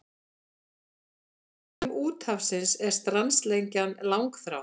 Öldum úthafsins er strandlengjan langþráð.